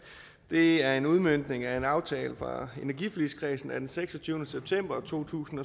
det er en udmøntning af en aftale fra energiforligskredsen af seksogtyvende september to tusind